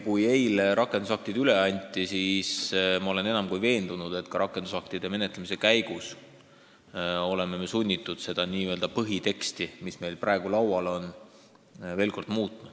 Eile anti need rakendusaktid üle ja ma olen enam kui veendunud, et me oleme sunnitud seda põhiteksti, mis meil praegu laual on, rakendusaktide menetlemise käigus veel kord muutma.